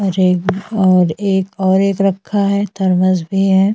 Rake और एक रखा है थर्मस भी है।